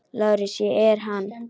LÁRUS: Ég er hann.